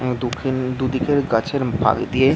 আ-দু-দুদিকের গাছের ফাক দিয়ে--